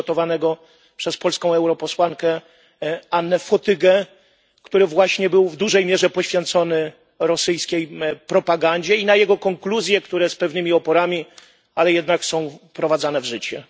przygotowanego przez polską posłankę Annę Fotygę, które właśnie było w dużej mierze poświęcone rosyjskiej propagandzie, i na jego konkluzje, które z pewnymi oporami, ale jednak są wprowadzane w życie.